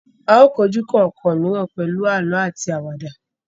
A o kọjú kọọkan mìíràn pẹlú àlọ àti Àwàdà.